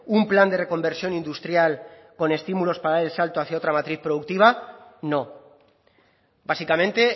un plan de reconversión industrial con estímulos para dar el salto hacia otra matriz productiva no básicamente